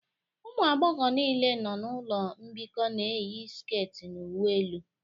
Ụmụ agbọghọ niile nọ n'ụlọ mbikọ na-eyi sket na uwe elu